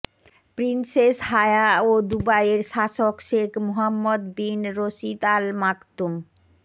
princess Haya ও দুবাইয়ের শাসক Sheikh Mohammed bin Rashid Al Maktum